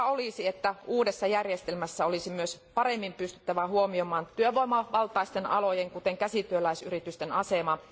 Toivottavaa olisi, että uudessa järjestelmässä pystyttäisiin myös paremmin huomioimaan työvoimavaltaisten alojen, kuten käsityöläisyritysten asema.